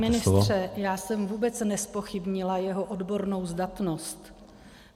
Pane ministře, já jsem vůbec nezpochybnila jeho odbornou zdatnost.